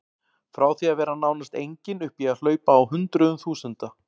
Frá því að vera nánast engin upp í að hlaupa á hundruðum þúsunda.